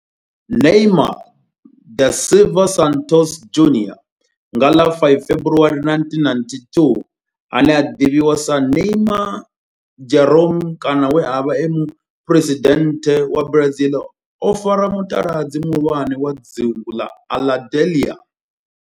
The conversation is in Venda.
Neymar da Silva Santos Junior nga ḽa 5 February 1992, ane a ḓivhiwa sa Neymar Jeromme kana we a vha e muphuresidennde wa Brazil o fara muṱaladzi muhulwane wa dzingu na Aludalelia.